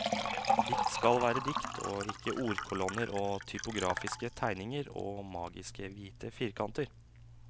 Dikt skal være dikt, og ikke ordkolonner og typografiske tegninger og magiske hvite firkanter.